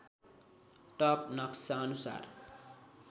top नक्सा अनुसार